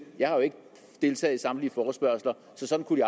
jeg har jo ikke deltaget i samtlige forespørgsler så sådan kunne